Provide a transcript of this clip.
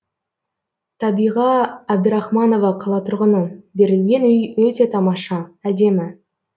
табиға әбдірахманова қала тұрғыны берілген үй өте тамаша әдемі